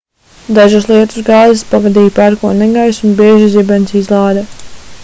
dažas lietusgāzes pavadīja pērkona negaiss un bieža zibensizlāde